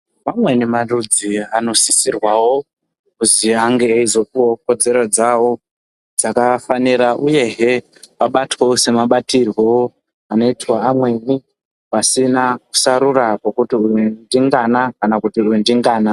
Vamweni marudzi anosisirwawi kuti ange eizopuwawo kodzero dzawo dzakafanira uyehe dzinobatirwawo nevamweni vasina kusarura zvendengana kana zvendengana.